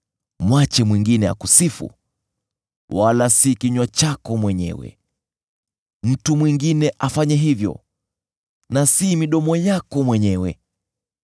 Mwache mwingine akusifu, wala si kinywa chako mwenyewe; mtu mwingine afanye hivyo na si midomo yako mwenyewe.